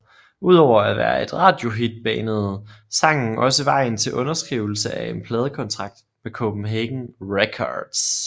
Udover at være et radiohit banede sangen også vejen til underskrivelse af en pladekontakt med Copenhagen Records